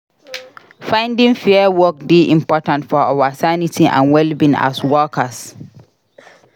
Finding fair work dey important for our sanity and wellbeing as workers.